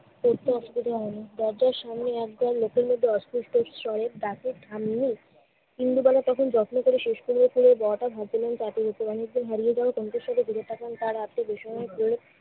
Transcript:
কাউকে আসতে দেয়া হয় না। দরজার সামনে এক দল লোকের মতো অস্পষ্ট স্বরে ডাকে, ঠাম্মি! ইন্দুবালা তখন যত্ন করে শেষ করে করে বড়টার হারিয়ে যাওয়া সন্তানদের ফিরে পাবেন তার আত্মবিস্ময়